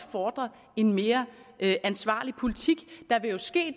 fordre en mere ansvarlig politik